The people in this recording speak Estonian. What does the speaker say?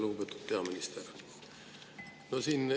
Lugupeetud peaminister!